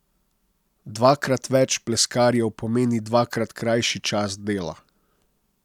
Dvakrat več pleskarjev pomeni dvakrat krajši čas dela.